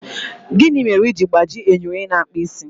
Gịnị mere i ji gbajie enyo onye na-akpụ isi?